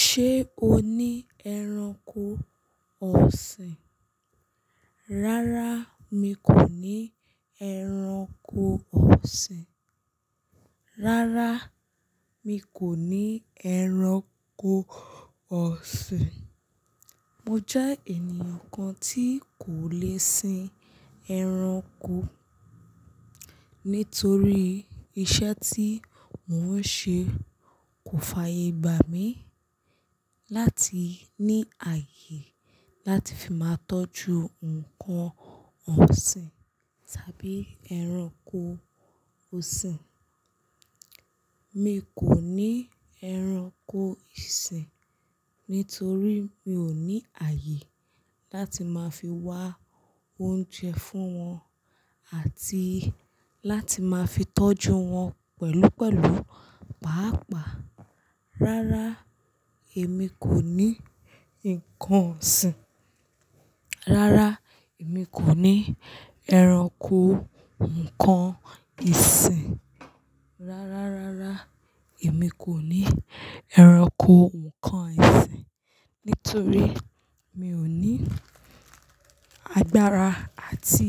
Ṣé o ní ẹranko ọ̀sìn? Rárá mi kò ní ẹranko ọ̀sìn. Rárá mi kò ní ẹranko ọ̀sìn. Mo jẹ́ ènìyàn kan tí kò lè sin ẹranko nítorí iṣẹ́ tí mò ń ṣe kò fàyè gbà mí láti ní ààyè láti fi máa tọ́jú nǹkan ọ̀sìn tàbí ẹranko ọ̀sìn. Mi kò ní ẹranko ìsìn nítorí mi ò ní ààyè láti máa fi wá oúnjẹ fún wọn àti láti máa fi tọ́jú wọn pẹ̀lúpẹ̀lú, pàápàá. Rárá èmi kò ní ǹnkan ọ̀sìn. Rárá èmi kò ní ẹranko ǹkan ìsìn. Rárá, rárá èmi kò ní ẹranko ǹkan ìsìn nítorí mi ò ní agbára àti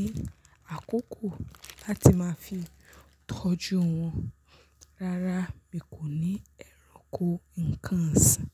àkókò láti máa fi tọ́jú wọn. Rárá mi kò ní ẹranko ǹkan ọ̀sìn.